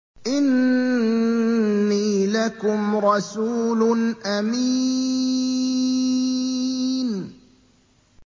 إِنِّي لَكُمْ رَسُولٌ أَمِينٌ